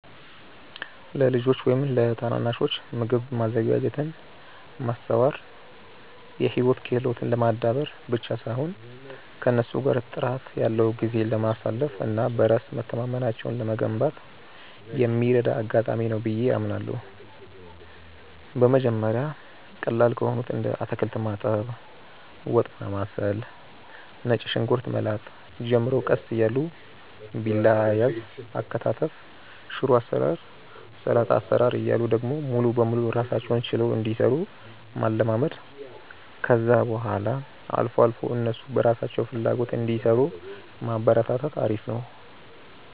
ለልጆች ወይም ለታናናሾች ምግብ ማዘጋጀትን ማስተማር የህይወት ክህሎትን ለማዳበር ብቻ ሳይሆን ከእነሱ ጋር ጥራት ያለው ጊዜ ለማሳለፍ እና በራስ መተማመናቸውን ለመገንባት የሚረዳ አጋጣሚ ነው ብዬ አምናለሁ። በመጀመሪያ ቀላል ከሆኑት እንደ አታክልት ማጠብ፣ ወጥ ማማሰል፣ ነጭ ሽንኩርት መላጥ ጀምረው ቀስ እያሉ ቢላ አያያዝ፣ አከታተፍ፣ ሽሮ አሰራር፣ ሰላጣ አሰራር እያሉ ደግሞ ሙሉ ለሙሉ ራሳቸውን ችለው እንዲሰሩ ማለማመድ፣ ከዛ በኋላ አልፎ አልፎ እነሱ በራሳቸው ፍላጎት እንዲሰሩ ማበረታታት አሪፍ ነው።